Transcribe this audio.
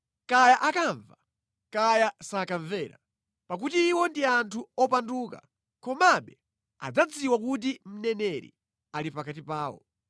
Kaya akamva kaya sakamvera, pakuti iwo ndi anthu opanduka, komabe adzadziwa kuti mneneri ali pakati pawo.